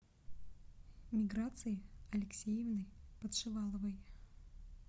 миграции алексеевны подшиваловой